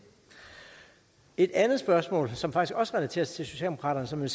et andet spørgsmål som faktisk også relaterer sig til socialdemokraterne